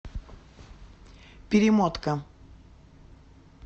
перемотка